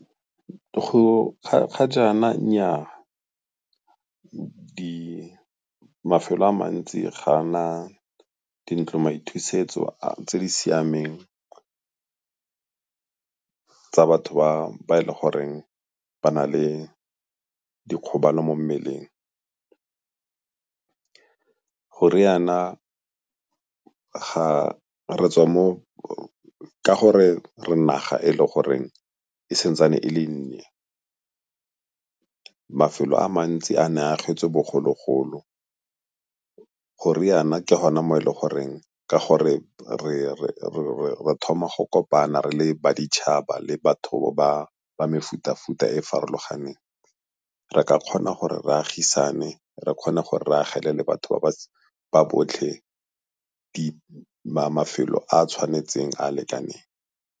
Ga jaana nnyaa, mafelo a mantsi ga a na dintlo maithusetso tse di siameng tsa batho ba e le goreng ba na le dikgobalo mo mmeleng. Go riana ga re tswa mo, ka gore re naga e le goreng e sa ntsane e le nnye, mafelo a mantsi a ne a agetswe bogologolo. Go riana ke gone mo e le goreng ke gore re thoma go kopana re le ba ditšhaba le batho ba mefuta-futa e e farologaneng, re ka kgona gore re agisane re kgona go re re agele le batho ba botlhe mafelo a a tshwanetseng, a a lekaneng.